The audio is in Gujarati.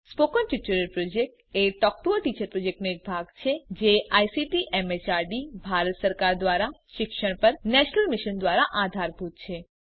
સ્પોકન ટ્યુટોરીયલ પ્રોજેક્ટ એ ટોક ટુ અ ટીચર પ્રોજેક્ટનો એક ભાગ છે જે આઇસીટી એમએચઆરડી ભારત સરકાર દ્વારા શિક્ષણ પર નેશનલ મિશન દ્વારા આધારભૂત છે